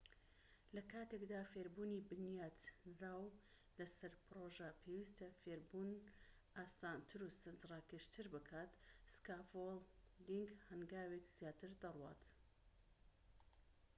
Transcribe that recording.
لە کاتێکدا فێربوونی بنیاتنراو لە سەر پرۆژە پێویستە فێربوون ئاسانتر و سەرنج ڕاکێشتر بکات سکافۆڵدینگ هەنگاوێک زیاتر دەڕوات